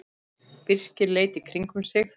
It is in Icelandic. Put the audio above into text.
Birkir leit í kringum sig.